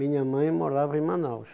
Minha mãe morava em Manaus.